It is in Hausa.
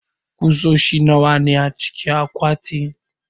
kusoshi nawa ne acikin akwatin?